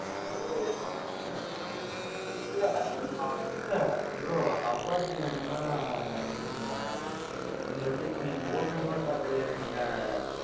இல்ல இப்போ இல்ல bro apacheல என்னன்னா நீங்க, நீங்க வச்சுருக்கீங்க, நீங்க ஓட்டுனதுகூட பாத்திருக்கேன், நீங்க,